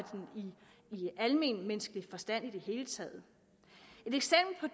i almenmenneskelig forstand i det hele taget